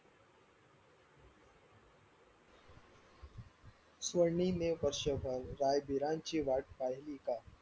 स्वर्णीने वर्षभर रायवीरांची वाट पाहिली का?